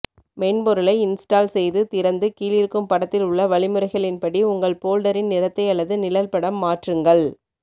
மென்பொருளை இன்ஸ்டால் செய்து திறந்து கீழிருக்கும் பட்த்தில் உள்ள வழிமுறைகளின் படி உங்கள் போல்டரின் நிறத்தை அல்லது நிழல்படம் மாற்றுங்கள்